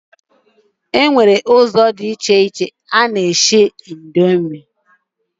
E nwere ụzọ dị iche iche eji esi nuduls.